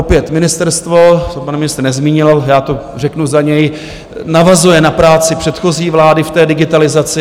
Opět, ministerstvo - co pan ministr nezmínil, já to řeknu za něj - navazuje na práci předchozí vlády v té digitalizaci.